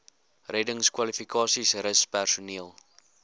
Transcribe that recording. reddingskwalifikasies rus personeel